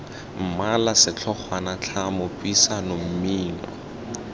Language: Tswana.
mmala setlhogwana tlhamo puisano mmino